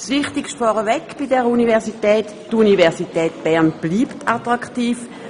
Das Wichtigste vorweg: Die Universität Bern bleibt attraktiv.